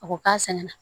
A ko k'a sɛnɛ